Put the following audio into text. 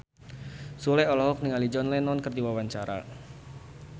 Sule olohok ningali John Lennon keur diwawancara